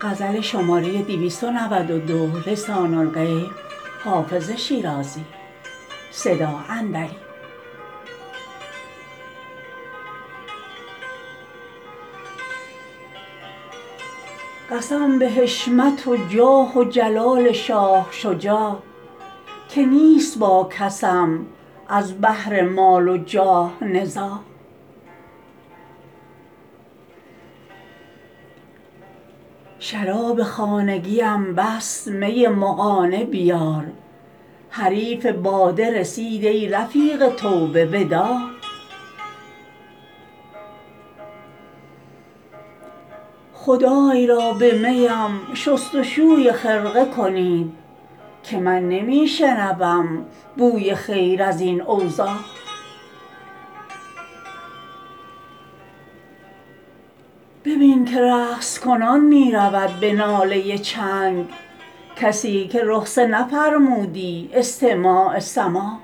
قسم به حشمت و جاه و جلال شاه شجاع که نیست با کسم از بهر مال و جاه نزاع شراب خانگیم بس می مغانه بیار حریف باده رسید ای رفیق توبه وداع خدای را به می ام شست و شوی خرقه کنید که من نمی شنوم بوی خیر از این اوضاع ببین که رقص کنان می رود به ناله چنگ کسی که رخصه نفرمودی استماع سماع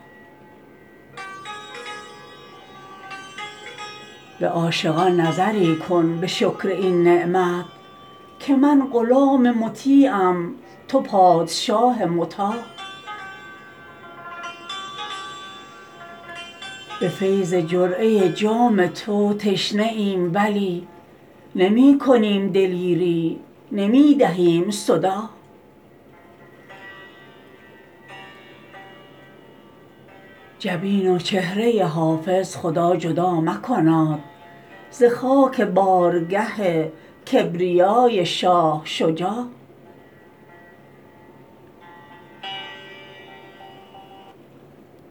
به عاشقان نظری کن به شکر این نعمت که من غلام مطیعم تو پادشاه مطاع به فیض جرعه جام تو تشنه ایم ولی نمی کنیم دلیری نمی دهیم صداع جبین و چهره حافظ خدا جدا مکناد ز خاک بارگه کبریای شاه شجاع